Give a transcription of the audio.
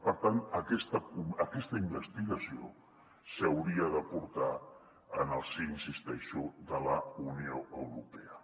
i per tant aquesta investigació s’hauria de portar en el si hi insisteixo de la unió europea